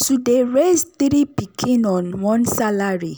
to dey raise three pikin on one salary